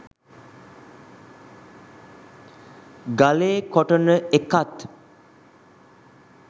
ගලේ කොටන එකත්